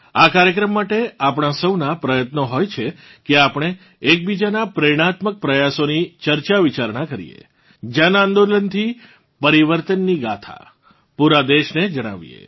આ કાર્યક્રમ માટે આપણાં સૌનાં પ્રયત્નો હોય છે કે આપણે એકબીજાનાં પ્રેરણાત્મક પ્રયાસોની ચર્ચાવિચારણા કરીએ જનઆંદોલનથી પરિવર્તનની ગાથા પૂરા દેશને જણાવીએ